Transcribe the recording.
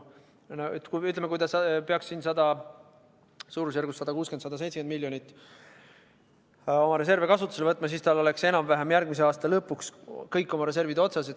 Kui ta peaks oma reservidest 160–170 miljonit eurot kasutusele võtma, siis oleks tal järgmise aasta lõpuks enam-vähem kõik reservid otsas.